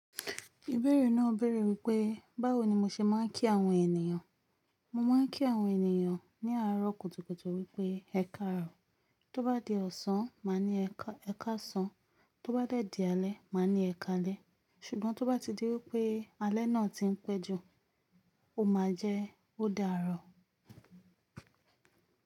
Ìbéèrè náà béèrè wípé báwo ni mo ṣe máa ń kí àwọn ènìyàn. Mo máa ń kí àwọn ènìyàn ní àárọ̀ kùtùkùtù wípé ẹ káàárọ̀, tó bá di ọ̀sán, màá ní ẹ káàsán, tó bá dẹ́ di alẹ́, màá ní ẹ kálẹ́. Ṣùgbọ́n tó bá ti di wípé alẹ́ náà ti ń pẹ́ jù, ó máa jẹ́ ó dáàárọ̀